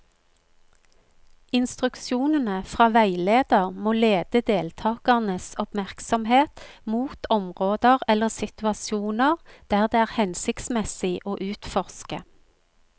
Instruksjonene fra veileder må lede deltakernes oppmerksomhet mot områder eller situasjoner det er hensiktsmessig å utforske.